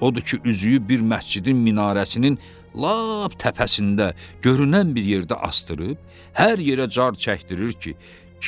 Odur ki, üzüyü bir məscidin minarəsinin lap təpəsində görünən bir yerdə asdırıb, hər yerə car çəkdirir ki,